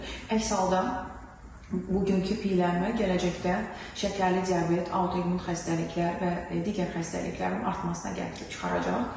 Əks halda bugünkü piyələnmə gələcəkdə şəkərli diabet, autoimmun xəstəliklər və digər xəstəliklərin artmasına gətirib çıxaracaq.